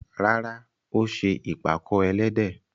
Rárá, ó ṣe ìpàkọ́ ẹlẹ́dẹ̀.